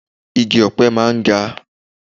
Igi ọ̀pẹ máa ń ga.